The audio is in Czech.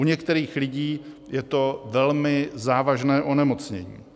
U některých lidí je to velmi závažné onemocnění.